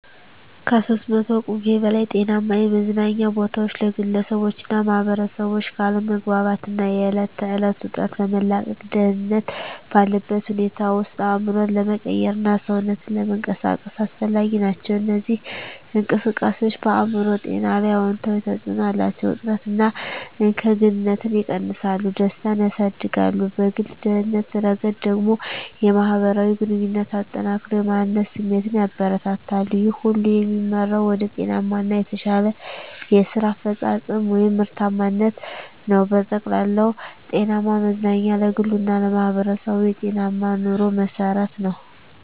(ከ300 ቁምፊ በላይ) ጤናማ የመዝናኛ ቦታዎች ለግለሰቦችና ማኅበረሰቦች ከአለመግባባት እና የዕለት ተዕለት ውጥረት ለመላቀቅ፣ ደህንነት ባለበት ሁኔታ ውስጥ አእምሮን ለመቀየርና ሰውነትን ለመንቀሳቀስ አስፈላጊ ናቸው። እነዚህ እንቅስቃሴዎች በአእምሮ ጤና ላይ አዎንታዊ ተጽዕኖ አላቸው፤ ውጥረትን እና እከግንነትን ይቀንሳሉ፣ ደስታን ያሳድጋሉ። በግል ደህንነት ረገድ ደግሞ፣ የማህበራዊ ግንኙነትን አጠናክረው የማንነት ስሜትን ያበረታታሉ። ይህ ሁሉ የሚመራው ወደ ጤናማ እና የተሻለ የስራ አፈጻጸም (ምርታማነት) ነው። በጠቅላላው፣ ጤናማ መዝናኛ ለግሉ እና ለማህበረሰቡ የጤናማ ኑሮ መሠረት ነው።